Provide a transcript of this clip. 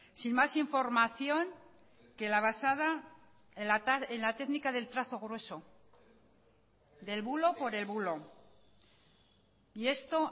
sin más información que la basada en la técnica del trazo grueso del bulo por el bulo y esto